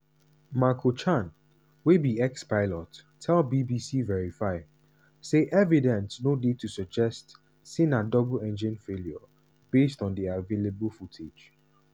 marco chan wey be ex-pilot tell bbc verify say evidence no dey to suggest say na double engine failure based on di available footage.